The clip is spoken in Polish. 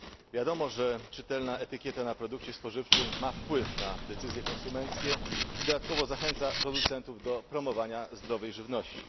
Wiadomo, że czytelna etykieta na produkcie spożywczym ma wpływ na decyzje konsumenckie i dodatkowo zachęca producentów do promowania zdrowej żywności.